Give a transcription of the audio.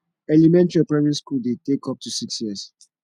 elementary or primary school de take up to six years